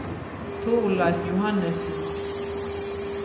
Torleif Johannesen